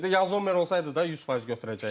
Yaxşı qapıçı idi, Yan Zommer olsaydı da 100% götürəcəkdi.